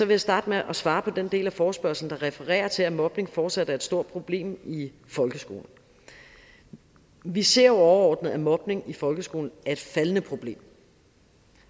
jeg starte med at svare på den del af forespørgslen der refererer til at mobning fortsat er et stort problem i folkeskolen vi ser jo overordnet at mobning i folkeskolen er et faldende problem